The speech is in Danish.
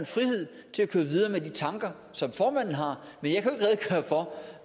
frihed til at køre videre med de tanker som formanden har men